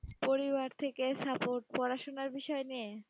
পরিবার থেকে support পড়াশুনার বিষয় নিয়ে?